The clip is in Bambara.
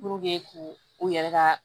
k'u u yɛrɛ ka